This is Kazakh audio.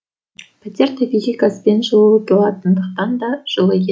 пәтер табиғи газбен жылытылатындықтан да жылы еді